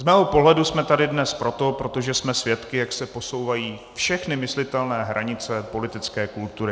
Z mého pohledu jsme tady dnes proto, protože jsme svědky, jak se posouvají všechny myslitelné hranice politické kultury.